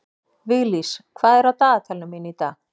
Viglís, hvað er á dagatalinu mínu í dag?